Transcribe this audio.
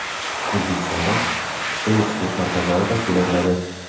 O‘zbekistonda pista yetishtirish markazlari tashkil etiladi.